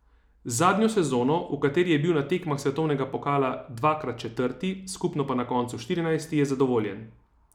Z zadnjo sezono, v kateri je bil na tekmah svetovnega pokala dvakrat četrti, skupno pa na koncu štirinajsti, je zadovoljen.